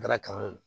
Taara kalan